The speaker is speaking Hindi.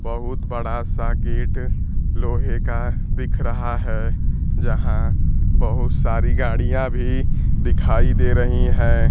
बहुत बड़ा सा गेट लोहे का दिख रहा है यहां बहुत सारी गाड़ियां भी दिखाई दे रही हैं।